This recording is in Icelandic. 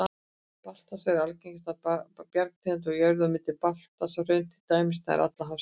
Basalt er algengasta bergtegund á jörðu, og mynda basalthraun til dæmis nær allan hafsbotninn.